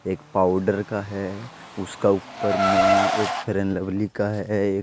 एक पाउडर का है उसका ऊपर में एक फेयरलवली का है।